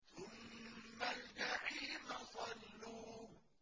ثُمَّ الْجَحِيمَ صَلُّوهُ